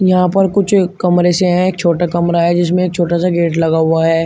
यहां पर कुछ कमरे से है छोटा कमरा है जिसमें एक छोटा सा गेट लगा हुआ है।